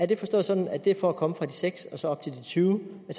det forstås sådan at det er for at komme fra de seks og så op til de tyve